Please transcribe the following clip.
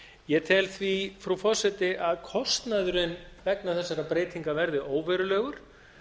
ég tel því frú forseti að kostnaðurinn vegna þessara breytinga verði óverulegur